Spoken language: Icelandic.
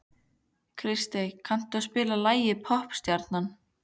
Kristey, kanntu að spila lagið „Poppstjarnan“?